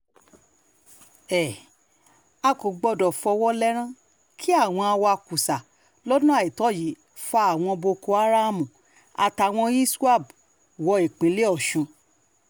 um a kò gbọdọ̀ fọwọ́ lẹ́rán kí àwọn um awakùsà lọ́nà àìtọ́ yìí fa àwọn boko haram àtàwọn iswap wọ ìpínlẹ̀ ọ̀sùn